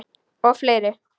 Og fleiri.